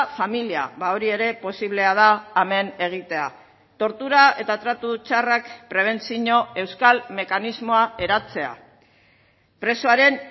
familia hori ere posiblea da hemen egitea tortura eta tratu txarrak prebentzio euskal mekanismoa eratzea presoaren